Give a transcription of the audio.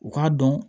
U k'a dɔn